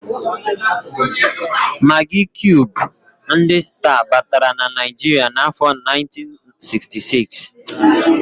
Magị kiub ndị sta batara na Naịjiria n'afọ 1966.